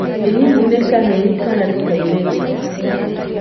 Ĩ hihi nĩ kahĩĩ kana nĩ kairĩtu?